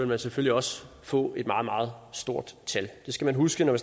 man selvfølgelig også få et meget meget stort tal det skal man huske når